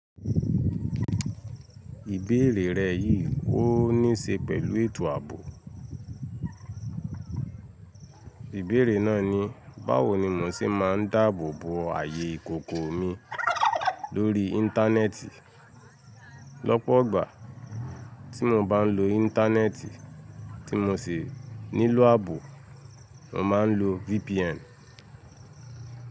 Ìbéèrè rẹ yìí wó ní ṣe pẹ̀lú ètò ààbò? Ìbéèrè náà ni, báwo ni mo ṣe máa ń dáàbò bo ààyè ìkòkò mi lórí Íńtánẹ́ẹ̀tì? Lọ́pọ̀gbà tí mo bá ń lo Íńtánẹ́ẹ̀tì tí mo sì nílò ààbò, mo máa ń lo VPN.